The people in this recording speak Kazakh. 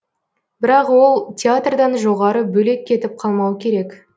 бірақ ол театрдан жоғары бөлек кетіп қалмауы керек